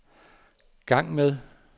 gang med